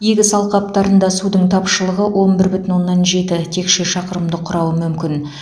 егіс алқаптарында судың тапшылығы он бір бүтін оннан жеті текше шақырымды құрауы мүмкін